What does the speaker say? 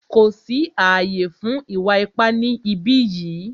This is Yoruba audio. Kò sí ààyè fún ìwà ipá ni ìbí yìí!